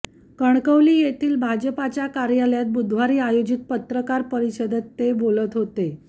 कणकवली येथील भाजपाच्या कार्यालयात बुधवारी आयोजित पत्रकार परिषदेत ते बोलत होते